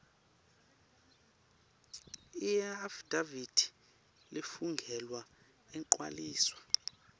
iafidavithi lefungelwe igcwaliswa